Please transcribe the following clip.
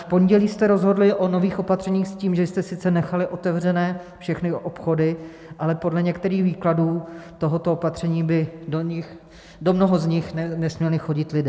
V pondělí jste rozhodli o nových opatřeních s tím, že jste sice nechali otevřené všechny obchody, ale podle některých výkladů tohoto opatření by do mnoha z nich nesměli chodit lidé.